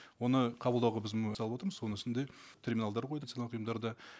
оны қабылдауға біз салып отырмыз соның үстінде терминалдар қойдық ұйымдарда